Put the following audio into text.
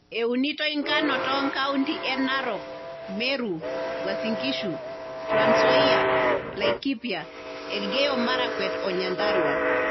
Eunitoi enkano too nkaunti e Narok, Meru, Uasin Gishu, Trans Nzoia, Laikipia ,Elgeyo Marakwet, o Nyandarua.